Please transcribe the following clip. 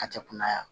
Hakɛ kunaya